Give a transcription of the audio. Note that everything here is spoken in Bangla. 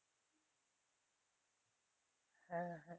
হ্যাঁ